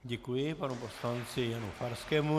Děkuji panu poslanci Janu Farskému.